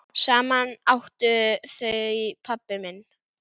Saman áttu þau pabba minn.